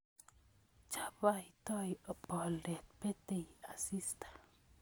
Chabaitoi boldet, betei asista